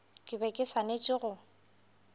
ke be ke swanetše go